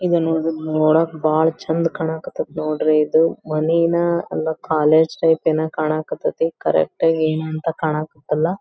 ಇದ ನೋಡ್ರಿ ನೋಡಕ್ ಬಹಳ ಚಂದ್ ಕಣಕ್ ಹತೈತಿ ನೋಡ್ರಿ ಇದು ಮನೇನ ಅಲ್ಲ ಕಾಲೇಜು ಟೈಪ್ ಕಣಕ್ ಹತೈತಿ ಕರೆಕ್ಟ್ ಆಗಿ ಏನು ಅಂತ ಕಣಕ್ ಹತಿಲ್ಲ.